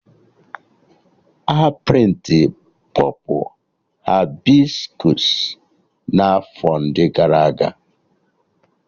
A prịntịrụ Pọpụ Hibiskọs n'afọ ndị gara aga